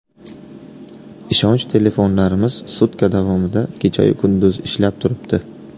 Ishonch telefonlarimiz sutka davomida kechayu-kunduz ishlab turibdi.